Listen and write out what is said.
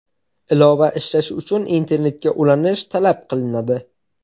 Ilova ishlashi uchun internetga ulanish talab qilinadi.